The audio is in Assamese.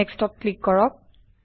Nextত ক্লিক কৰক